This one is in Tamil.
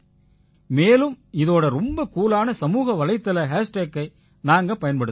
மேலும் இதோடு ரொம்ப கூலான சமூக வலைத்தள ஹேஷ்டேகை நாங்க பயன்படுத்தறோம்